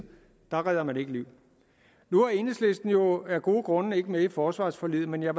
redder man ikke liv nu er enhedslisten jo af gode grunde ikke med i forsvarsforliget men jeg